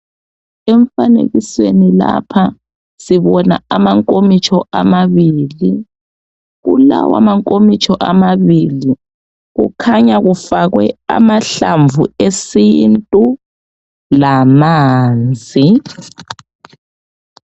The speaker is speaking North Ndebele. Emfanekisweni lapha. Sibona amankomitsho amabili. Kulawa mankomitsho amabili, kukhanya kufakwe amahlamvu esintu lamanzi.